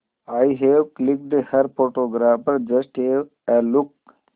I have clicked her photographer just have a look